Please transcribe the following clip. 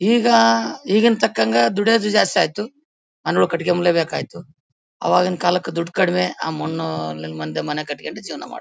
ಈಗ ಈಗಿನ ತಕ್ಕಂತೆ ದುಡಿಯೋದು ಜಾಸ್ತಿ ಆಯಿತು ಕಟ್ಟಿಗೆ ಮೂಲೆ ಬೇಕಾಯ್ತು ಆವಾಗಿನ ಕಾಲಕ್ಕೆ ದುಡ್ಡು ಕಡಿಮೆ ಆ ಮಣ್ಣು ಮಧ್ಯೆ ಮನೆ ಕಟ್ಕೊಂಡು ಜೀವನ ಮಾಡ್ತಿದ್ವಿ.